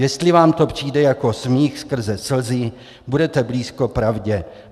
Jestli vám to přijde jako smích skrze slzy, budete blízko pravdě.